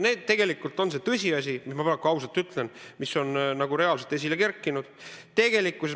See on tõsiasi, ma praegu ausalt ütlen, mis on reaalselt esile kerkinud.